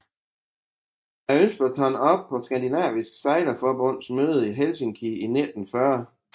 Ønsket blev taget op på Skandinavisk Sejlerforbunds møde i Helsinki i 1940